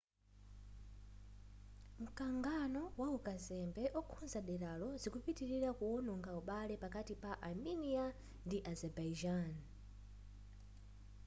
mkangano waukazembe okhuza deralo zikupitilira kuwononga ubale pakati pa armenia ndi azerbaijan